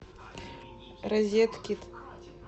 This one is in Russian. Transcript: розеткид